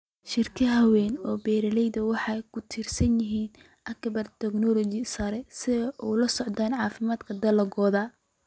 Shirkadaha waaweyn ee beeralayda waxay ku tiirsan yihiin agabka tignoolajiyada sare si ay ula socdaan caafimaadka dalagga.